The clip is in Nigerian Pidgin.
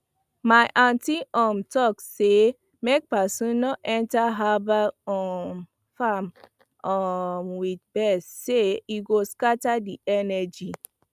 my aunty um talk say make person no enter herbal um farm um with vex sey e go scatter the energy